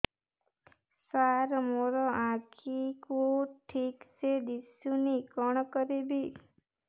ସାର ମୋର ଆଖି କୁ ଠିକସେ ଦିଶୁନି କଣ କରିବି